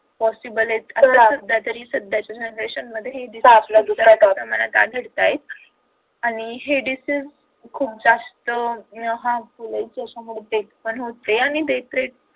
possible आहेत तरी सुद्धा या generation मध्ये आणि हे diseases खूप जास्त harmful आहेत आणि त्याच्यामध्ये देखील होते